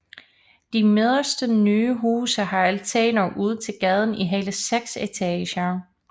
De midterste nye huse har altaner ud til gaden i hele seks etager